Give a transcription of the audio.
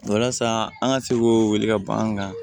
Walasa an ka se k'o wele ka ban an kan